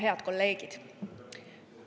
Head kolleegid!